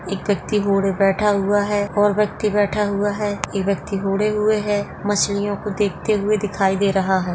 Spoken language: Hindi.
एक बैठा हुआ है और व्यक्ति बैठा हुआ है एक व्यक्ति ओढ़े हुए है मछलियों को देखते हुए दिखाई दे रहा है।